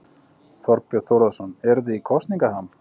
Þorbjörn Þórðarson: Eruð þið í kosningaham?